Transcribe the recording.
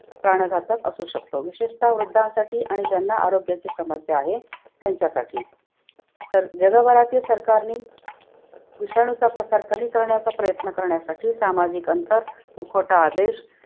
प्राणघातक असू शकतो विशेषत वृद्धांसाठी आणि ज्यांना आरोग्याची समस्या आहे त्यांच्यासाठी. तर जगभरातील सरकारनी विषाणूचा प्रसार कमी करण्याचा प्रयत्न करण्यासाठी सामाजिक अंतर, मुखवटा आदेश